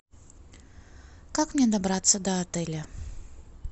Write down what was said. как мне добраться до отеля